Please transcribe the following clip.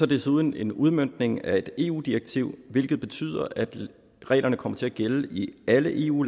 desuden en udmøntning af et eu direktiv hvilket betyder at reglerne kommer til at gælde i alle eu